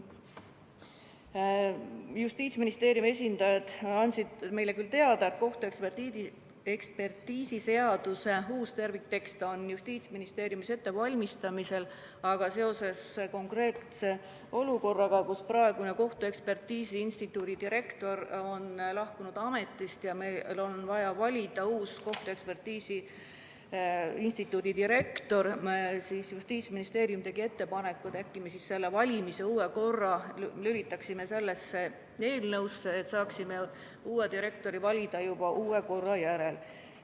Justiitsministeeriumi esindajad andsid meile teada, et kohtuekspertiisiseaduse uus terviktekst on Justiitsministeeriumis ettevalmistamisel, aga seoses praeguse olukorraga, kus kohtuekspertiisi instituudi direktor on ametist lahkunud ja meil on vaja valida instituudile uus direktor, tegi Justiitsministeerium ettepaneku, et lülitaksime sellesse eelnõusse valimise uue korra, et saaksime direktori valida juba uue korra järgi.